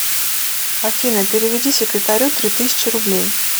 афина переведи секретарю три тысячи рублей